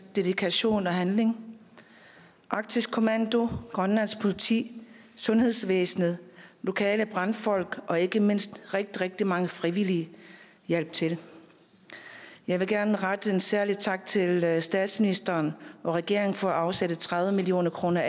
dedikation og handling arktisk kommando grønlands politi sundhedsvæsenet lokale brandfolk og ikke mindst rigtig rigtig mange frivillige hjalp til jeg vil gerne rette en særlig tak til statsministeren og regeringen for at afsætte tredive million kroner